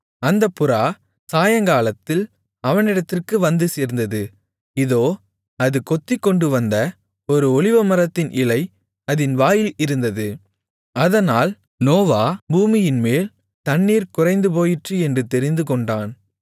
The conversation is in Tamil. அந்தப் புறா சாயங்காலத்தில் அவனிடத்திற்கு வந்து சேர்ந்தது இதோ அது கொத்திக்கொண்டுவந்த ஒரு ஒலிவமரத்தின் இலை அதின் வாயில் இருந்தது அதனால் நோவா பூமியின்மேல் தண்ணீர் குறைந்துபோயிற்று என்று தெரிந்து கொண்டான்